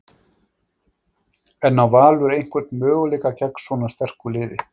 En á Valur einhvern möguleika gegn svona sterku liði?